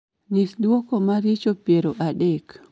nyis duoko ma richo piero adek